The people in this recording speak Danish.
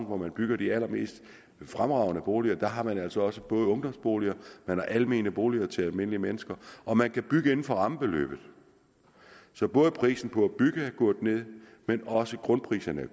hvor man bygger de allermest fremragende boliger har man altså også både ungdomsboliger og almene boliger til almindelige mennesker og man kan bygge inden for rammebeløbet så prisen på at bygge er gået ned men også grundpriserne